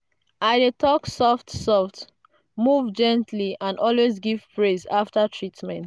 i dey talk soft-soft move gently and always give praise after treatment.